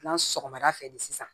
N'an sɔgɔmada fɛ de sisan